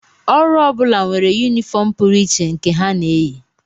Ọrụ ọ bụla nwere yunifọm pụrụ iche nke ha na-eyi